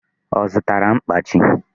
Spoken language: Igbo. Ọ zụtara mkpachi?